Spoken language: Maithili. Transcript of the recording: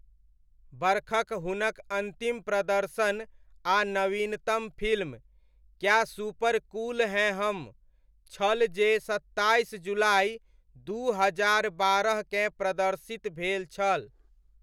बरखक हुनक अन्तिम प्रदर्शन आ नवीनतम film 'Kya super cool Hain Hum' छल जे सत्ताइस जुलाई दू हजार बारहकें प्रदर्शित भेल छल।